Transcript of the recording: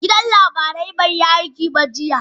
Gidan labarai bai yi aiki ba jiya